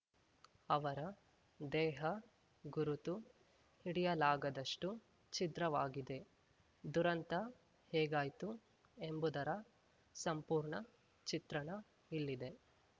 ಅವರ ದೇಹ ಗುರುತು ಹಿಡಿಯಲಾಗದಷ್ಟುಛಿದ್ರವಾಗಿದೆ ದುರಂತ ಹೇಗಾಯ್ತು ಎಂಬುದರ ಸಂಪೂರ್ಣ ಚಿತ್ರಣ ಇಲ್ಲಿದೆ